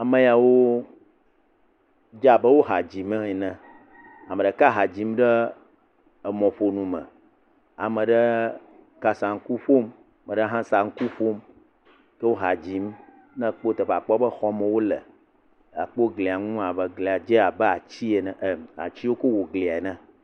Ame ya wo dze abe wo ha dzim ene. Ame ɖeka ha dzim ɖe emɔƒonu me. Ame aɖe kasaŋku ƒom. Ame aɖe hã saŋku ƒom. Wo ha dzim ne ekpɔ teƒea akpɔ be xɔmee wole. Akpɔ glia nu abe glia dzi abe ati ene e ati wokɔ wɔ glia ene.